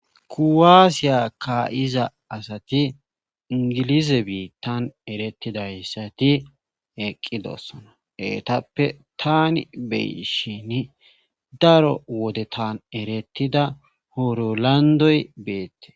kuwaasiya ka7iza asati ingilize biittan erettidayssati eqqidossona heetappe tani beyshin daro wode tan erettida hoorolandoy beette